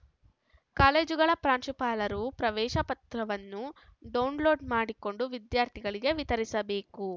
ಕಾಲೇಜುಗಳ ಪ್ರಾಂಶುಪಾಲರು ಪ್ರವೇಶ ಪತ್ರವನ್ನು ಡೌನ್‌ಲೋಡ್‌ ಮಾಡಿಕೊಂಡು ವಿದ್ಯಾರ್ಥಿಗಳಿಗೆ ವಿತರಿಸಬೇಕು